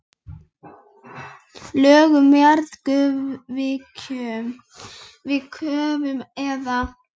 Lög um jarðgufuvirkjun við Kröflu eða